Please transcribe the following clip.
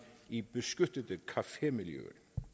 i beskyttede cafémiljøer